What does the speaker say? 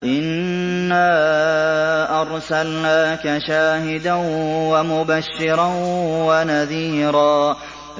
إِنَّا أَرْسَلْنَاكَ شَاهِدًا وَمُبَشِّرًا وَنَذِيرًا